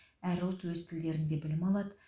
әр ұлт өз тілдерінде білім алады